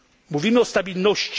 Mówimy o stabilności.